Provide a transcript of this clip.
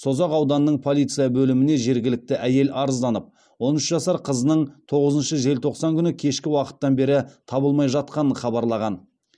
созақ ауданының полиция бөліміне жергілікті әйел арызданып он үш жасар қызының тоғызыншы желтоқсан күні кешкі уақыттан бері табылмай жатқанын хабарлаған